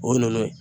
O ninnu ye